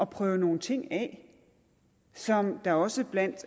prøve nogle ting af som der også blandt